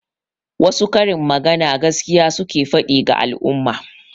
Wasu karin magana gaskiya suke faɗi ga al'umma.